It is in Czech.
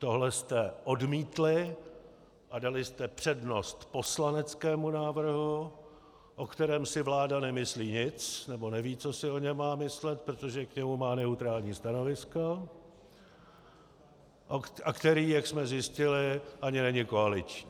Tohle jste odmítli a dali jste přednost poslaneckému návrhu, o kterém si vláda nemyslí nic, nebo neví, co si o něm má myslet, protože k němu má neutrální stanovisko, a který, jak jsme zjistili, ani není koaliční.